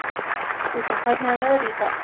Gugga, hvernig er veðrið í dag?